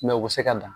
u bɛ se ka dan